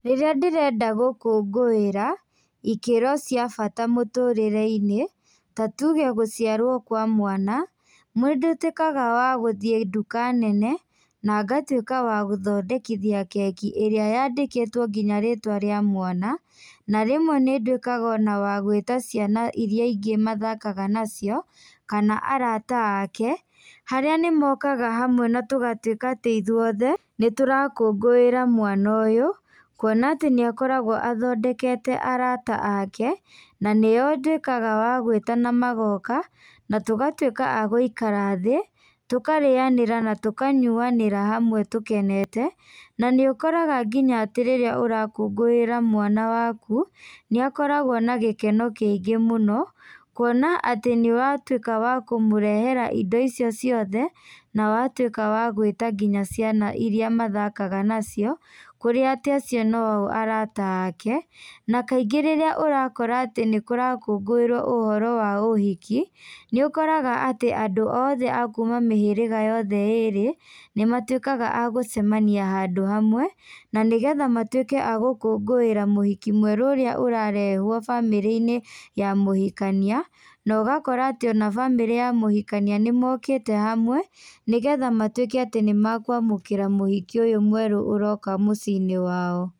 Rĩrĩa ndĩrenda gũkũngũĩra, ikĩro cia bata mũtũrĩreinĩ, ta tuge gũciarwo kwa mwana, mũndũ atuĩkaga wa gũthiĩ ndũka nene, na ngatuĩka wa gũthondekithia keki ĩrĩa yandĩkĩtwo nginya rĩtwa rĩa mwana, na rĩmwe nĩndũĩkaga ona wa gwĩta ciana iria ingĩ mathakaga nacio, kana arata ake, harĩa nĩmokaga hamwe na tũgatuĩka atĩ ithuothe, nĩtũrakũngũĩra mwana ũyũ, kuona atĩ nĩakoragwo athondekete arata ake, na nĩo nduĩkaga wa gwĩta namagoka, na tũgatuĩka a gũikara thĩ, tũkarĩanĩra na tũkanyuanĩra hamwe tũkenete, na nĩ ũkoraga nginya atĩ rĩrĩa ũrakũngũĩra mwana waku, nĩakoragwo na gĩkeno kĩingĩ mũno, kuona atĩ nĩwatuĩka wa kũmũrehera indo icio ciothe, na wa tuĩka wa gwĩta nginya ciana iria mathakaga nacio, kũrĩa atĩ acio no o arata ake, na kaingĩ rĩrĩa ũrakora atĩ nĩkũrakũngũirwo ũhoro wa ũhiki, nĩũkoraga atĩ andũ othe a kuma mĩhĩrĩga yothe ĩrĩ, nĩmatuĩkaga a gũcemania handũ hamwe, na nĩgetha matuĩke a gũkũngũira mũhiki mwerũ ũrĩa ũrarehwo bamĩrĩinĩ ya mũhikania, nogakora ona bamĩrĩ ya mũhikania nĩmokĩte hamwe, nĩgetha matuĩke atĩ nĩmakwamũkĩra mũhiki ũyũ mwerũ ũroka mũcinĩ wao.